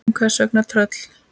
En hvers vegna tröll?